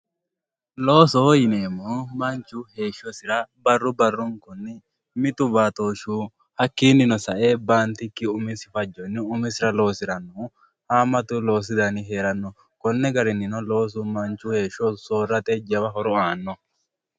Loosoho yineemo woyite manchu heeshosira barru barunkuni mittu batoshuyi hakiini sae bantikini manchu umisira losiranohu haamatu loosu dani no kuni garinino loosu manchi beetira lowo horo aano